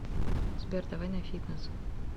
сбер давай на фитнес